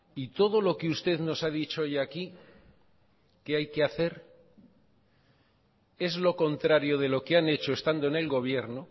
y todo lo que usted nos ha dicho hoy aquí que hay que hacer es lo contrario de lo que han hecho estando en el gobierno